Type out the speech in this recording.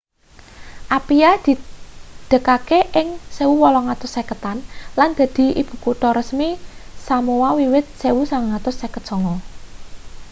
apia didegaké ing 1850-an lan dadi ibukutha resmi samoa wiwit 1959